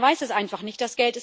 Man weiß es einfach nicht.